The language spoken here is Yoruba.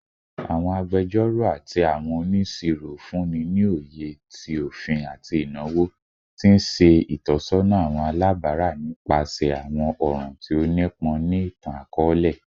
Awọn agbẹjọro ati awọn oniṣiro funni ni oye ti ofin ati inawo, ti n ṣe itọsọna awọn alabara nipasẹ awọn ọran ti o nipọn ni itan-akọọlẹ